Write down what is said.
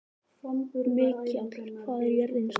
Mikjáll, hvað er jörðin stór?